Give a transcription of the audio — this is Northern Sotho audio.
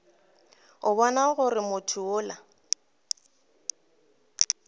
a bona gore motho yola